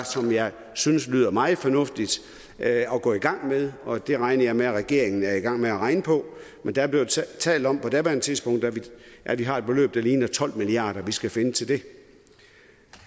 som jeg synes lyder meget fornuftigt at gå i gang med og det regner jeg med at regeringen er i gang med at regne på men der blev talt talt om på daværende tidspunkt at vi har et beløb der ligner tolv milliard kr vi skal finde til det